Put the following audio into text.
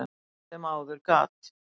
sem áður gat.